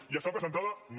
i està presentada no